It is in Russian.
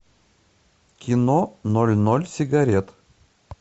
кино ноль ноль сигарет